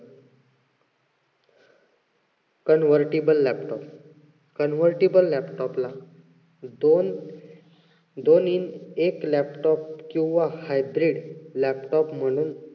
convertable laptop, convertible laptop ला दोन दोन हि एक laptop किंवा hybrid laptop म्हणून